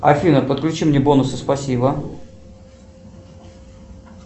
афина подключи мне бонусы спасибо